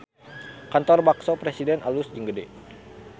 Kantor Bakso Presiden alus jeung gede